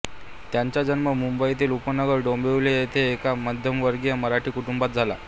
त्यांचा जन्म मुंबईतील उपनगर डोंबिवली येथे एका मध्यमवर्गीय मराठी कुटुंबात झाला